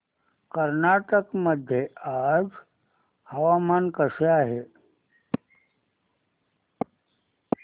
कर्नाटक मध्ये आज हवामान कसे आहे